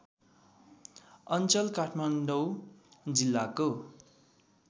अञ्चल काठमाडौँ जिल्लाको